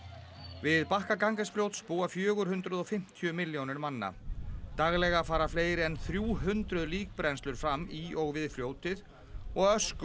við bakka Ganges fljóts búa fjögur hundruð og fimmtíu milljónir manna daglega fara fleiri en þrjú hundruð fram í og við fljótið og ösku